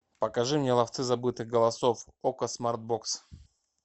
покажи мне ловцы забытых голосов окко смарт бокс